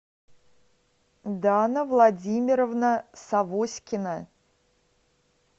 дана владимировна савоськина